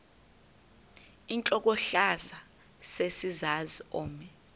intlokohlaza sesisaz omny